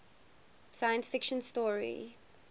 science fiction story